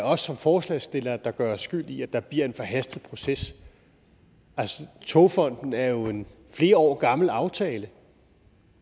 os som forslagsstillere der gør os skyld i at der bliver en forhastet proces altså togfonden dk er jo en flere år gammel aftale